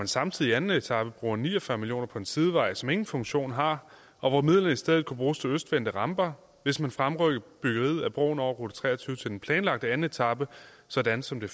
samtidig i anden etape bruger ni og fyrre million kroner på en sidevej som ingen funktion har og hvor midlerne i stedet kunne bruges til østvendte ramper hvis man fremrykkede byggeriet af broen over rute tre og tyve til den planlagte anden etape sådan som det